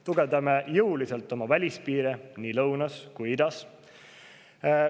Tugevdame jõuliselt oma välispiire nii lõunas kui idas.